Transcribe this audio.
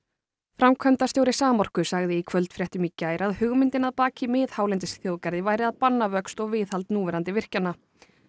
framkvæmdastjóri Samorku sagði í kvöldfréttum í gær að hugmyndin að baki miðhálendisþjóðgarði væri að banna vöxt og viðhald núverandi virkjana